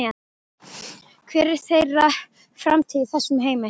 Hver er þeirra framtíð í þessum heimi?